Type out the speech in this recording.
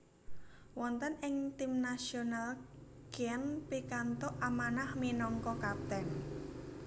Wonten ing tim nasional Keane pikantuk amanah minangka kapten